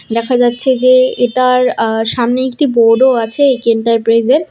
দেখা যাচ্ছে যে এটার আঃ সামনে একটি বোর্ড -ও আছে এ_কে এন্টারপ্রাইজ -এর।